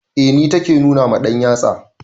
Eh ni take nuna ma ɗanyatsa.